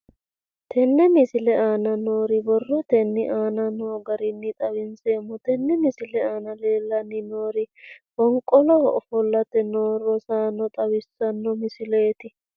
Tenne misile aana noore borrotenni aane noo garinni xawiseemo. Tenne misile aana leelanni nooerri fonqoloho ofolte noo roosanno xawissanno misileeti.